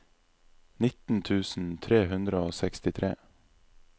nitten tusen tre hundre og sekstitre